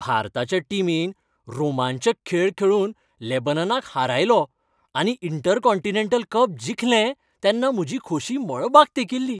भारताच्या टीमीन रोमांचक खेळ खेळून लेबननाक हारयलो आनी इंटरकॉन्टिनेंटल कप जिखलें तेन्ना म्हजी खोशी मळबाक तेंकिल्लीं.